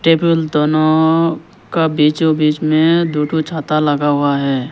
Table दोनों का बीचो बीच में दो ठो छाता लगा हुआ है।